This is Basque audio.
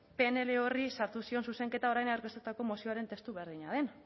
pnl horri sartu zion zuzenketa orain aurkeztutako mozioaren testu berdina den